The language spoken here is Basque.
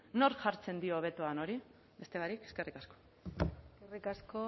nork jartzen dio hori beste barik eskerrik asko eskerrik asko